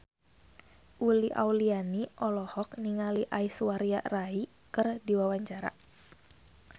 Uli Auliani olohok ningali Aishwarya Rai keur diwawancara